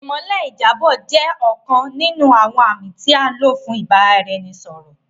Ìmọ́lẹ̀ ìjábọ̀ jẹ́ ọ̀kan nínú àwọn àmì tí a lò fún ìbáraẹnisọ̀rọ̀